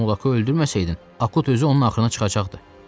Sən Molakı öldürməsəydin, Akut özü onun axrına çıxacaqdı.